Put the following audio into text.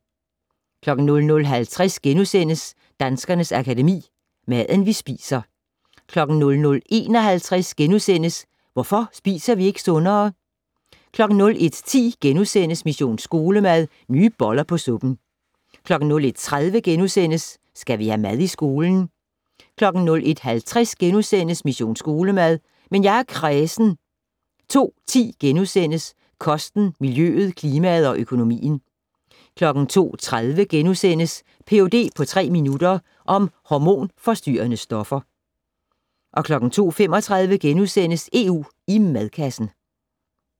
00:50: Danskernes Akademi: Maden, vi spiser * 00:51: Hvorfor spiser vi ikke sundere? * 01:10: Mission Skolemad: Nye boller på suppen * 01:30: Skal vi have mad i skolen? * 01:50: Mission Skolemad: Men jeg er kræsen * 02:10: Kosten, miljøet, klimaet og økonomien * 02:30: Ph.d. på tre minutter - om hormonforstyrrende stoffer * 02:35: EU i madkassen *